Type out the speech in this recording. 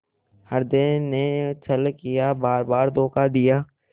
हृदय ने छल किया बारबार धोखा दिया